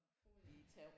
Åh ja